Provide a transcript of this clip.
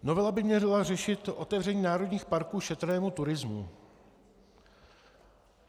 Novela by měla řešit otevření národních parků šetrnému turismu.